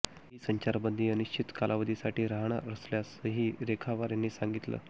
ही संचारबंदी अनिश्चित कालावधीसाठी राहणार असल्याचंही रेखावार यांनी सांगितलं